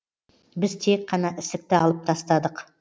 біз тек қана ісікті алып тастадық